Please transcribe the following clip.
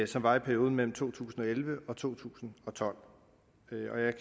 som var i perioden mellem to tusind og elleve og to tusind og tolv